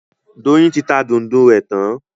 Doyin ti tá Dùndú rẹ tàn.